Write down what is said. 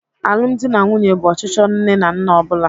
Alụmdi na nwunye bụ ọchịchọ nne na nna ọ bụla.